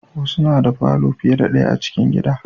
Wasu na da falo fiye da daya a cikin gida